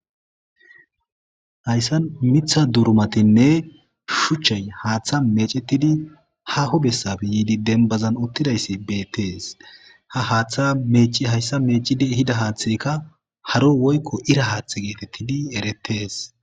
Hayssan mitha durumatinne shuchchay haaththa meecettidi haho bessab yiidi denbazan uttidayssi beettees ha haaththa meeci hayssa meecide hida haaththekka haro woykko ira haaththe geetettidi erettees.